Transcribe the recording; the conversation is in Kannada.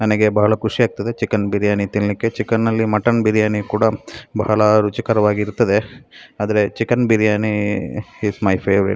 ನನಗೆ ಬಹಳ ಖುಶಿಯಾಗ್ತದೆ ಚಿಕನ್‌ ಬಿರಿಯಾನಿ ತಿನ್‌ಲಿಕ್ಕೆ ಚಿಕನ್‌ ಅಲ್ಲಿ ಮಟನ್‌ ಬಿರಿಯಾನಿ ಕೂಡ ರುಚಿಕರವಾಗಿರ್ತದೆ ಆದರೆ chicken biryani is my favourite .